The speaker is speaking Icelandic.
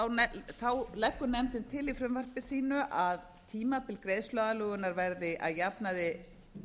uppfyllt þá leggur nefndin til í frumvarpi sínu að tímabil greiðsluaðlögunar verði að jafnaði